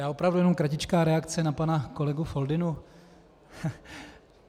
Já opravdu jen kratičkou reakci na pana kolegu Foldynu.